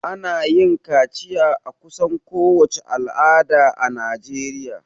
Ana yin kaciya a kusan kowace al'ada a najeriya